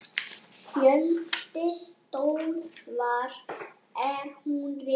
Fjöldi stöðva er nú rekinn.